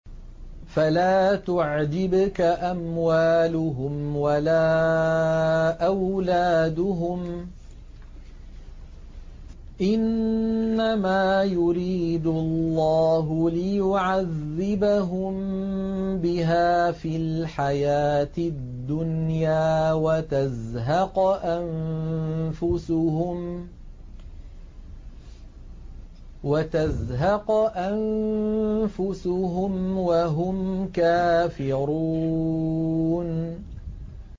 فَلَا تُعْجِبْكَ أَمْوَالُهُمْ وَلَا أَوْلَادُهُمْ ۚ إِنَّمَا يُرِيدُ اللَّهُ لِيُعَذِّبَهُم بِهَا فِي الْحَيَاةِ الدُّنْيَا وَتَزْهَقَ أَنفُسُهُمْ وَهُمْ كَافِرُونَ